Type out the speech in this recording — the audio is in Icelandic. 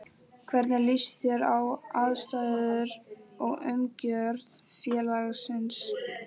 Hvernig líst þér á aðstæður og umgjörð félagsins?